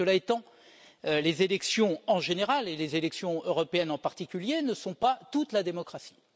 Cela étant, les élections en général, et les élections européennes en particulier, ne sont pas toute la démocratie.